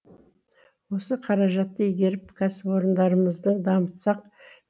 осы қаражатты игеріп кәсіп орындарымызды дамытсақ